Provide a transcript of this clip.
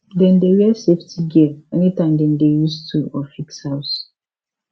dem dey wear safety gear anytime dem dey use tool or fix house